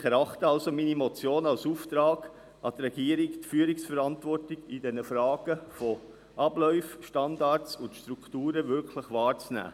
Ich erachte somit meine Motion als Auftrag an die Regierung, die Führungsverantwortung in Sachen Abläufe, Standards und Strukturen wirklich wahrzunehmen.